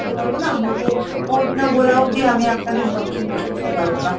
দিতে পারবো না, আমাকে code না বলা অব্দি আমি আপনাকে information কিছু দিতে পারবো না।